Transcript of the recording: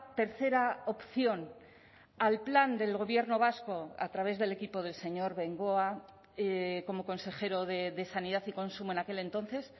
tercera opción al plan del gobierno vasco a través del equipo del señor bengoa como consejero de sanidad y consumo en aquel entonces